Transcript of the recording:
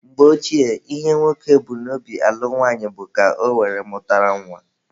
Mgbe Ochie, ihe nwoke bu n'obi alụ nwaanyị bụ ka ọ were mụta nwa.